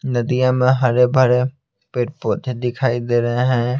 नदियाँ में हरे भरे पेड़ पौधे दिखाई दे रहे है।